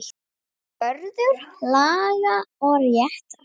Vörður laga og réttar.